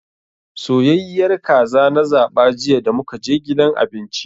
Soyayyiyar kaza na zaba jiya damukaje gidan abinci.